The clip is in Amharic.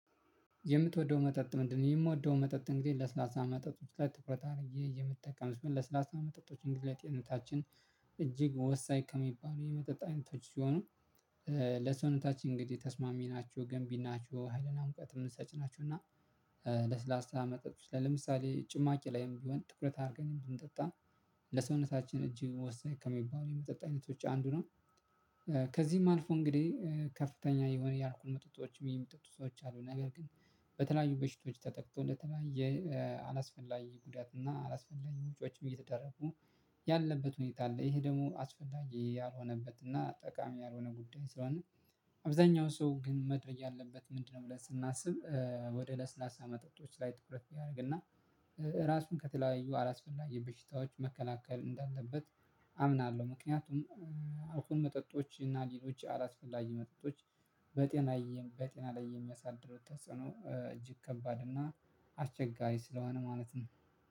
የምትወደው መጠጥ ምንድነው? የምወደው መጠጥ እንግዲህ ለስላሳ መጠጥ። ትኩረት አድርጌ የምትጠቀም ስሆን ለስላሳ መጠጦች እንግዲህ ላይ ለሰውነታችን እጅግ ወሳኝ ከሚባሉ የመጠጣት አይነቶች ሲሆኑ። ለሰውነታችን እንግዲህ ተስማሚ ናቸው ገንቢ ናቸው ሀይልና ሙቀትም ሰጭ ናቸው። እና ለስላሳ መጠጥ ለምሳሌ ጭማቂ ላይም ቢሆን ትኩረት አድርገን ብንጠጣ ለሰውነታችን እጅ ወሳኝ ከሚባሉ የመጠጥ አይነቶች አንዱ ነው። ከዚህም አልፎ እንግዲህ ከፍተኛ የሆነ የአልኮል መጠጦችም የሚጠጡ ሰዎች አሉ። ነገር ግን በተለያዩ በሽቶች ተጠቅቶ ለተለያየ አላስፈላጊ ጉዳት እና አላስፈላጊ ወጪዎችም እየተደረጉ ያለበት ሁኔታ አለ። ይሄ ደግሞ አስፈላጊ ያልሆነበት እና ጠቃሚ ያልሆነ ጉዳይ። ስለሆነ አብዛኛው ሰው ግን መተው ያለበት ምንድነው? ብለን ስናስብ ወደ ለስላሳ መጠጦች ላይ ትኩረት ያድርግና ራሱን ከተለያዩ አላስፈላጊ በሽታዎች መከናከል እንዳለበት አምናለሁ። ምክንያቱም አልኮል መጠጦች እና ሌሎች አላስፈላጊ መጠጦች በጤና ላይ በጤና ላይ የሚያሳድረው ተጽዕኖ እጅግ ከባድ እና አስቸጋሪ ስለሆነ ማለት ነው።